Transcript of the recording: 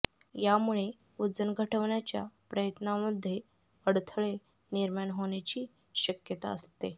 यामुळे वजन घटवण्याच्या प्रयत्नांमध्ये अडथळे निर्माण होण्याची शक्यता असते